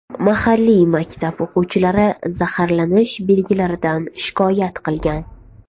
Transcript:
Mahalliy maktab o‘quvchilari zaharlanish belgilaridan shikoyat qilgan.